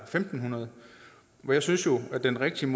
fem hundrede jeg synes jo at den rigtige